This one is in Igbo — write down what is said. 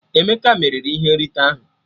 Emeke meriri ihe nrite ahụ